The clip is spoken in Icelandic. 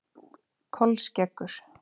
Kolskeggur